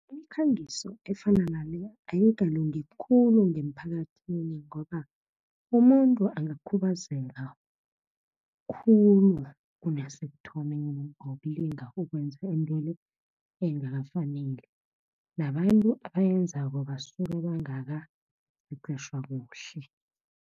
Imikhangiso efana nale ayikalungi khulu ngemphakathini, ngoba umuntu angakhubazeka khulu kunasekuthomeni ngokulinga ukwenza into engakafaneli. Nabantu abayenzako basuke bangakaqeqetjhwa kuhle.